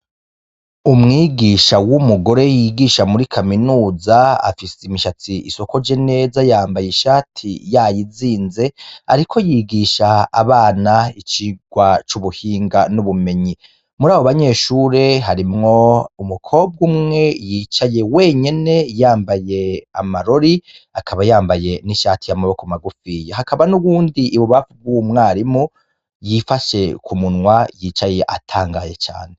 Umwigisha w'umugore yigisha muri kaminuza, afise imishatsi isokoje neza, yambaye ishati yayizinze, ariko yigisha abana icigwa c'ubuhinga n'ubumenyi. Muri abo ba nyeshure harimwo umukobwa umwe yicaye wenyene, yambaye amarori akaba yambaye n'ishati y'amaboko magufi. Hakaba n'uwundi ibubamfu bw'umwarimu yifashe ku munwa yicaye atangaye cane.